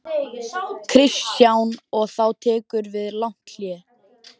Kristján: Og þá tekur við langt hlé?